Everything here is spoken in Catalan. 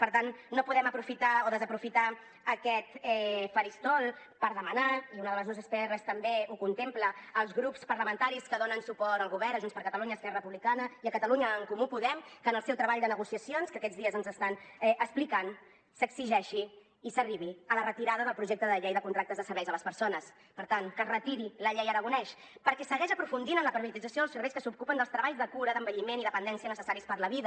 per tant no podem desaprofitar aquest faristol per demanar i una de les nostres prs també ho contempla als grups parlamentaris que donen suport al govern a junts per catalunya i esquerra republicana i a catalunya en comú podem que en el seu treball de negociacions que aquests dies ens estan explicant s’exigeixi i s’arribi a la retirada del projecte de llei de contractes de serveis a les persones per tant que es retiri la llei aragonès perquè segueix aprofundint en la privatització dels serveis que s’ocupen dels treballs de cura d’envelliment i dependència necessaris per la vida